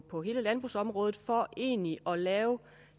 på hele landbrugsområdet for egentlig at lave